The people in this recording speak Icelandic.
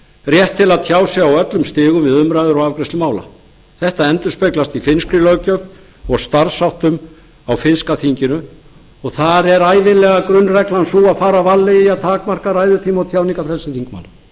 rétt til að tjá sig á öllum stigum við umræður og afgreiðslu mála þetta endurspeglast í finnskri löggjöf og starfsháttum á finnska þinginu og þar er ævinlega grunnreglan sú að fara varlega í að takmarka ræðutíma og tjáningarfrelsi þingmanna réttindi